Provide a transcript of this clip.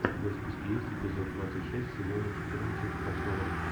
у тебя в списке есть эпизод двадцать шесть сезона четырнадцать касл рок